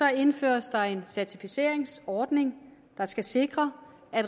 indføres der en certificeringsordning der skal sikre at